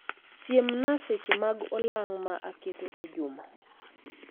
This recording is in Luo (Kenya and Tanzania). Siemna seche mag olang' ma aketo e juma